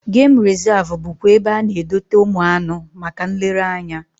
Gem rezav bụkwa ebe a na-edote ụmụ anụ maka nlere anya